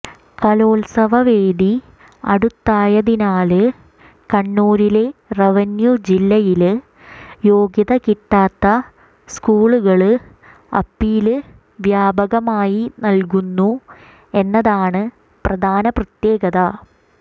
കലോത്സവ വേദി അടുത്തയതിനാല് കണ്ണൂരിലെ റവന്യൂജില്ലയില് യോഗ്യത കിട്ടാത്ത സ്കൂളുകള് അപ്പീല് വ്യാപകമായി നല്കുന്നു എന്നതാണ് പ്രധാന പ്രത്യേകത